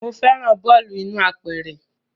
Mo fẹ́ràn bọ́ọ̀lù inú apẹ̀rẹ̀